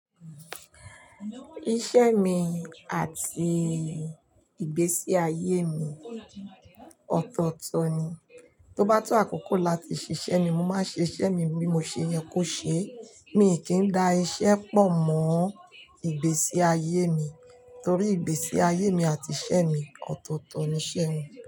Iṣẹ́ mi àti ìgbésí ayé mi ọ̀tọ̀ọ̀tọ̀ ni. To bá tó àkókò láti ṣiṣẹ́ ni mo máa ṣe iṣẹ́ mi bí mo ṣe yẹ kó ṣe. Mi kì í da iṣẹ́ pọ̀ mọ́ ìgbésí ayé mi torí ìgbésí ayé mi àti iṣẹ́ mi ọ̀tọ̀ọ̀tọ̀ ni iṣẹ́ mi.